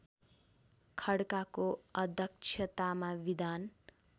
खड्काको अध्यक्षतामा विधान